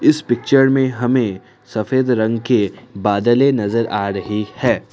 इस पिक्चर में हमे सफेद रंग के बादले नजर आ रही है।